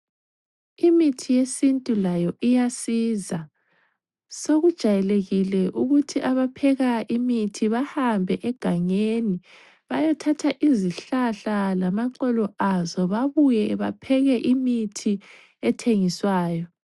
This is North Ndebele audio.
Imithi yesintu layo iyasiza, sokujayelekile ukuthi abapheka imithi bahambe egangeni bayethatha izihlahla lamaxolo azo babuye bapheke imithi ethengiswayo.